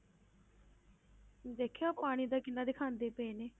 ਦੇਖਿਆ ਉਹ ਪਾਣੀ ਦਾ ਕਿੰਨਾ ਦਿਖਾਉਂਦੇ ਪਏ ਨੇ